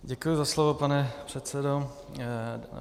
Děkuji za slovo, pane předsedo.